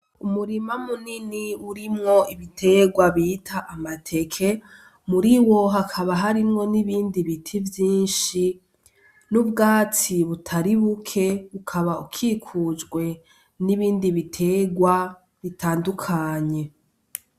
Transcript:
Umurima munini urimwo ibiterwa bita amateke muriwo hakaba harimwo n'ibindi biti vyinshi, n'ubwatsi butari buke ukaba ukikujwe n'ibindi biterwa bitandukanye.